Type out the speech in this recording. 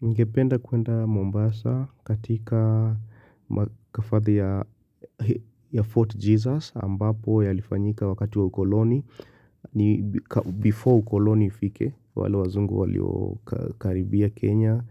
Ningependa kwenda Mombasa katika makafadhi ya Fort Jesus ambapo yalifanyika wakati wa ukoloni. Before ukoloni ifike, wale wazungu walio karibia Kenya.